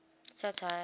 satire